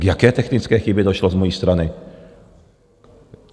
K jaké technické chybě došlo z mojí strany?